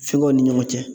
Fɛnkɛw ni ɲɔgɔn cɛ